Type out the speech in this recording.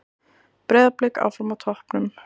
Breiðablik áfram á toppnum